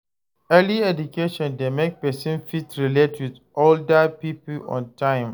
Early education de make persin fit relate with older pipo on time